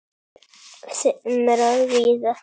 þeim er víða ratar